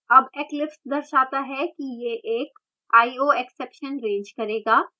अब eclipse दर्शाता है कि यह एक ioexception रेज़ करेगा